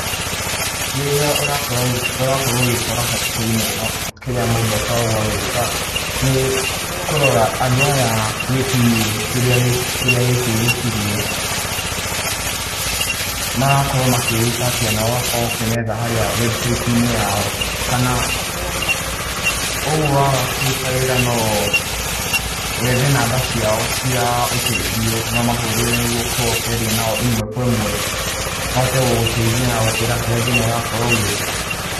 Rĩrĩa ũrakorwo ũgĩkora hatĩka-inĩ ta ĩno kĩrĩa mũndũ akoragwo agĩka nĩ kũrora andũ aya wĩtirie kĩrĩa gĩkĩ wĩtirie marakorwo makĩĩta atĩa na ũgũkĩmetha harĩa website -inĩ yao. Kana ũguo waga kũruta wĩra no wethe namba ciao cia ũteithio na ũmahurĩre nĩguo ũkorwo ũkĩaria nao ĩmwe kwa ĩmwe mahote gũgũteithia na gũkũĩra harĩa thĩna ũrakorwo ũgĩũkĩra.